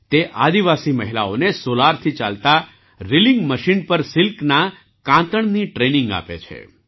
તે આદિવાસી મહિલાઓને સૉલારથી ચાલતા રીલિંગ મશીન પર સિલ્કની વણાટની ટ્રેનિંગ આપે છે